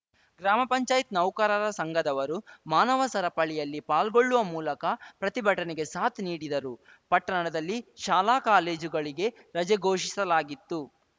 ಗ್ರಾಮ ಪಂಚಾಯತ್ ನೌಕರರ ಸಂಘದವರು ಮಾನವ ಸರಪಳಿಯಲ್ಲಿ ಪಾಲ್ಗೊಳ್ಳುವ ಮೂಲಕ ಪ್ರತಿಭಟನೆಗೆ ಸಾತ್‌ ನೀಡಿದರು ಪಟ್ಟಣದಲ್ಲಿ ಶಾಲಾ ಕಾಲೇಜುಗಳಿಗೆ ರಜೆ ಘೋಷಿಸಲಾಗಿತ್ತು